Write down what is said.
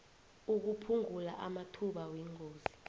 ukuphungula amathuba wengozi